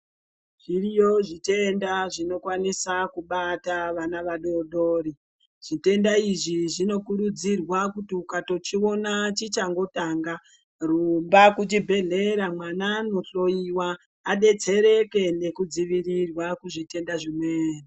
Zviriyo zvitenda zvinokwanise kubata vana vadoodori. Zvitenda izvi zvinokurudzirwa kuti ukatochiona chichangotanga, rumba kuchibhedhlera mwana andohloyiwa adetsereke nekudzivirirwa kuzvitenda zvimweni.